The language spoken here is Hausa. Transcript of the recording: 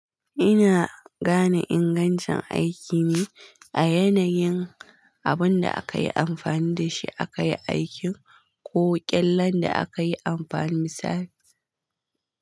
Ina gane ingancin aiki ne a yanayin abun da aka yi amfani da shi aka yi aikin ko ƙyallen da aka yi amfani dashi, misali.